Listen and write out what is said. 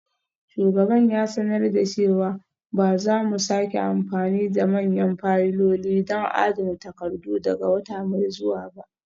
Shugaban ya sanar da cewa ba za mu sake amfani da manyan fayiloli don adana takardu daga wata mai zuwa ba.